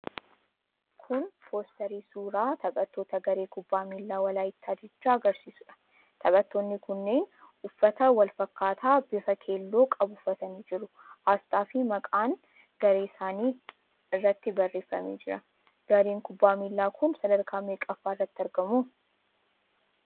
Kun poosterii suuraa taphattoota Garee Kubbaa Miilaa Walaayittaa Diichaa agarsiisuudha. Taphattoonni kunneen uffata wal fakkaataa bifa keelloo qabu uffatanii jiru. Aasxaafi maqaan garee isaaniis irratti barreeffamee jira. Gareen kubbaa miilaa kun sadarkaa meeqaffaa irratti argamu?